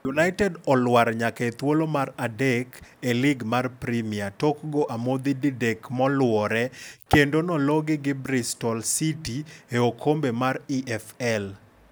United olwar nyaka e thuolo mar adek e lig mar premia tok go amodhi didek moluore kendo nologi gi Bristol City e okombe mar EFL.